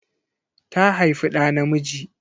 Ta haifi ɗa namiji.